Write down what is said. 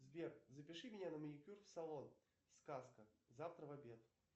сбер запиши меня на маникюр в салон сказка завтра в обед